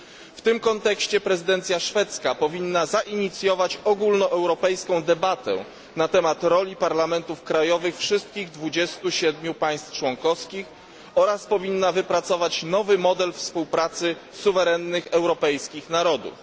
W tym kontekście prezydencja szwedzka powinna zainicjować ogólnoeuropejską debatę na temat roli parlamentów krajowych wszystkich 27 państw członkowskich oraz powinna wypracować nowy model współpracy suwerennych europejskich narodów.